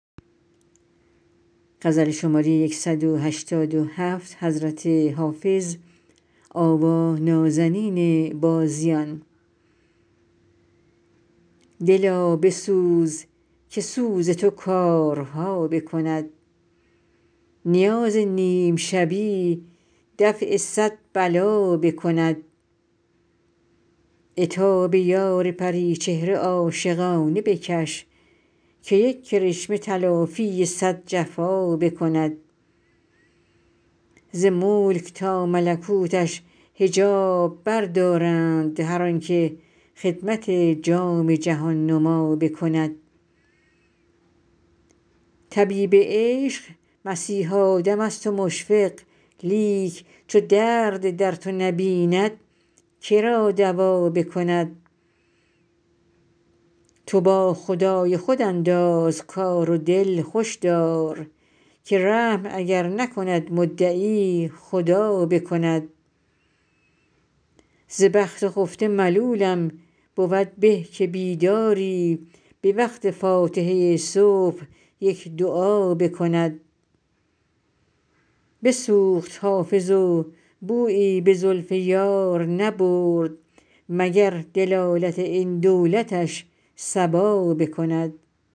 دلا بسوز که سوز تو کارها بکند نیاز نیم شبی دفع صد بلا بکند عتاب یار پری چهره عاشقانه بکش که یک کرشمه تلافی صد جفا بکند ز ملک تا ملکوتش حجاب بردارند هر آن که خدمت جام جهان نما بکند طبیب عشق مسیحا دم است و مشفق لیک چو درد در تو نبیند که را دوا بکند تو با خدای خود انداز کار و دل خوش دار که رحم اگر نکند مدعی خدا بکند ز بخت خفته ملولم بود که بیداری به وقت فاتحه صبح یک دعا بکند بسوخت حافظ و بویی به زلف یار نبرد مگر دلالت این دولتش صبا بکند